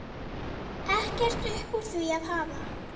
Ekkert upp úr því að hafa!